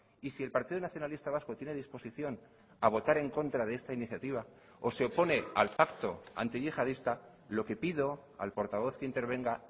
y si el partido nacionalista vasco tiene disposición a votar en contra de esta iniciativa o se opone al pacto antiyihadista lo que pido al portavoz que intervenga